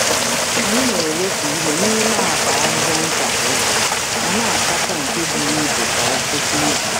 Anyị na-ewepụ ihe n’ime akpa ahịhịa nta kwa ụbọchị, ma na-asacha nke buru ibu kwa ngwụsị izu.